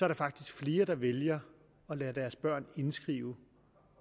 der faktisk flere der vælger at lade deres børn indskrive